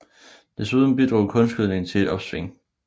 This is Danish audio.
Desuden bidrog kunstgødning til et opsving